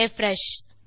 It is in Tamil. ரிஃப்ரெஷ்